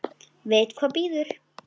Veit hvað bíður.